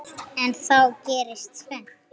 En þá gerist tvennt.